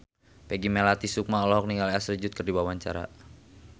Peggy Melati Sukma olohok ningali Ashley Judd keur diwawancara